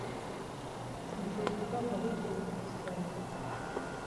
джой какая валюта в узбекистане